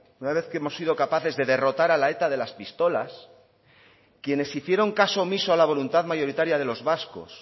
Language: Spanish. una vez que hemos sido capaces de derrotar a la eta de las pistolas quienes hicieron caso omiso a la voluntad mayoritaria de los vascos